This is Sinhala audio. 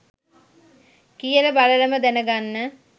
කියල බලලම දැන ගන්න